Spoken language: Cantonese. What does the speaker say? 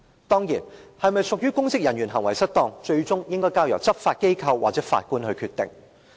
當然，是否屬於公職人員行為失當，最終應該交由執法機構或法官來決定。